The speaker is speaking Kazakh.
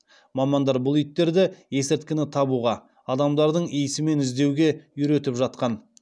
мамандар бұл иттерді есірткіні табуға адамдардың иісімен іздеуге үйретіп жатқан